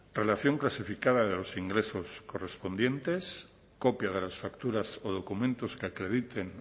relación clasificada de los ingresos correspondientes copia de las facturas o documentos que acrediten